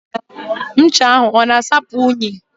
Does the soap wash off dirt?